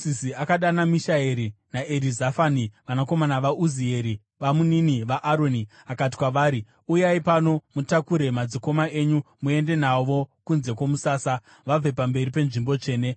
Mozisi akadana Mishaeri naErizafani, vanakomana vaUzieri, babamunini vaAroni, akati kwavari, “Uyai pano mutakure madzikoma enyu muende navo kunze kwomusasa vabve pamberi penzvimbo tsvene.”